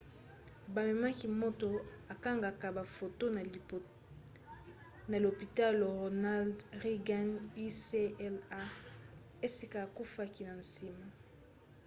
bamemaki moto akangaka bafoto na lopitalo ronald reagan ucla esika akufaki na nsima